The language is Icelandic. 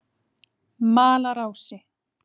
Malarási